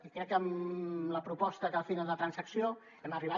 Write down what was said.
i crec que amb la proposta que al final de la transacció hem arribat